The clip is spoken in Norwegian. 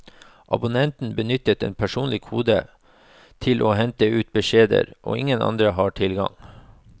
Abonnenten benytter en personlig kode til å hente ut beskjedene, og ingen andre har tilgang.